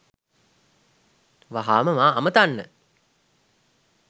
වහාම මා අමතන්න